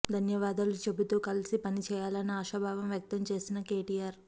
ధన్యవాదాలు చెబుతూ కలసి పనిచేయాలన్న ఆశాభావం వ్యక్తం చేసిన కెటిఆర్